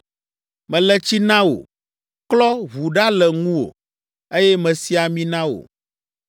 “Mele tsi na wò, klɔ ʋu ɖa le ŋuwò, eye mesi ami na wò.